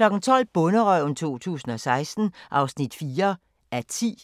12:00: Bonderøven 2016 (4:10)